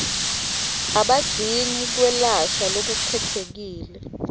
abadzingi kwelashwa lokukhetsekile